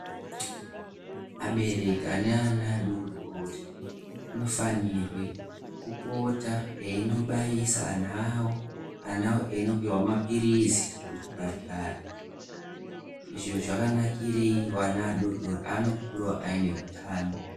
Abereki ane ana adodori munofanirwe kupota einobairisa ana awo. Ana awo einopiwa maphirizi kuzvipatara. Izvi zvakanakirei? Kuti ana vadodori aone kukurawo aine utano.